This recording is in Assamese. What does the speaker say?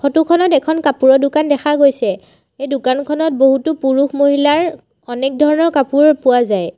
ফটো খনত এখন কাপোৰৰ দোকান দেখা গৈছে এই দোকানখনত বহুতো পুৰুষ মহিলাৰ এনেক ধৰণৰ কাপোৰ পোৱা যায়।